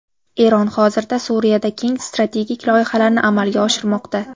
Eron hozirda Suriyada keng strategik loyihalarni amalga oshirmoqda.